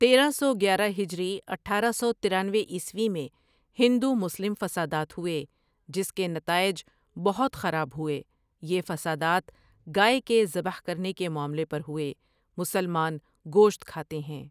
تیرہ سو گیارہ ہجری اٹھارہ سو ترانوے عیسوی میں ہندو مسلم فسادات ہوٸے جس کے نتاٸج بہت خراب ہوٸے یہ فسادات گائے کے زبح کرنے کے معاملے پر ہوٸے مسلمان گوشت کھاتےہیں۔